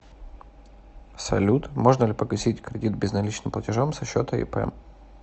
салют можно ли погасить кредит безналичным платежом со счета ип